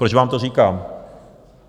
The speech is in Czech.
Proč vám to říkám?